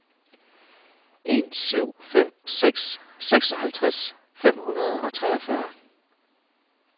en syv fem seks seksoghalvtreds fem hundrede og treogfyrre